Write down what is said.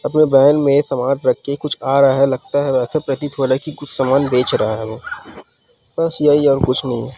अपने वैन मे समान रखके कुछ आ रहा लगता हे वैसे प्रतीत हो रहा की कुछ सामान बेच रहा वो बस यही हे और कुछ नही हे।